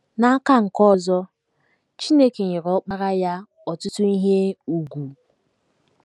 N’aka nke ọzọ, Chineke nyere Ọkpara ya ọtụtụ ihe ùgwù.